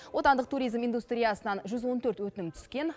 отандық туризм индустриясынан жүз он төрт өтінім түскен